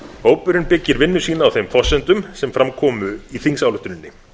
hópurinn byggir vinnu sína á þeim forsendum sem fram komu í þingsályktuninni